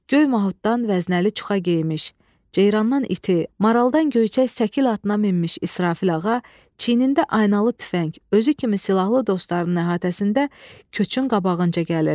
Göy Mahutdan vəznəli çuxa geyinmiş, ceyrandan iti, maraldan göyçək Səkil atına minmiş İsrafil ağa çiyinində aynalı tüfəng, özü kimi silahlı dostlarının əhatəsində köçün qabağınca gəlirdi.